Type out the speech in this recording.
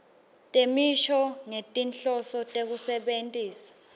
temisho ngetinhloso tekusebentisa